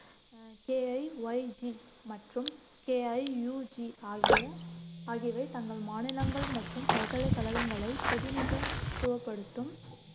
KIYG மற்றும் KIUG ஆகிய ஆகியவை தங்கள் மாநிலங்கள் மற்றும் பல்கலைக்கழகங்களைப் பிரதிநிதித்துவப்படுத்தும்